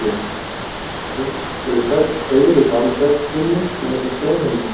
Beinin í okkur eru klædd seigri bandvefshimnu sem nefnist beinhimna.